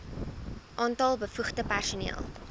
aantal bevoegde personeel